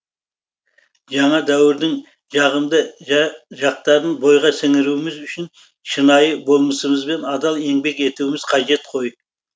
жаңа дәуірдің жағымды жақтарын бойға сіңіруіміз үшін шынайы болмысымызбен адал еңбек етуіміз қажет қой